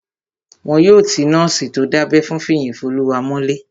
Wọn yóò ti nọ́ọ̀sì tó dábẹ́ fún Fiyinfoluwa mọ́lé